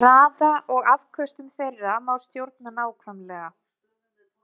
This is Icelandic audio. Hraða og afköstum þeirra má stjórna nákvæmlega.